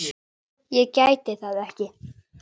Ég gæti það ekki.